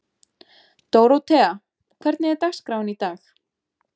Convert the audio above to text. Dórótea, hvernig er dagskráin í dag?